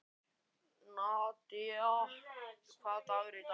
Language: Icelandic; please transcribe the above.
Nadia, hvaða dagur er í dag?